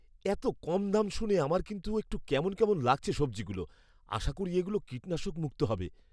এত কম দাম শুনে আমার কিন্তু একটু কেমন কেমন লাগছে সবজিগুলো, আশা করি এগুলো কীটনাশক মুক্ত হবে।